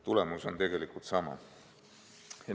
Tulemus on sama.